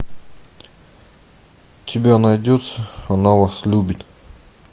у тебя найдется она вас любит